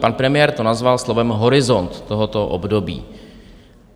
Pan premiér to nazval slovem horizont tohoto období.